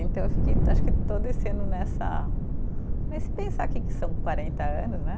Então, eu fiquei, acho que estou descendo nessa, nesse pensar que que são quarenta anos, né?